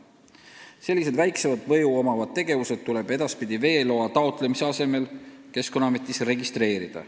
Sellised väiksema mõjuga tegevused tuleb edaspidi veeloa taotlemise asemel Keskkonnaametis registreerida.